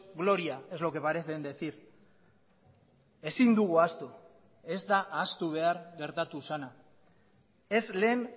gloria es lo que parecen decir ezin dugu ahaztu ez da ahaztu behar gertatu zena ez lehen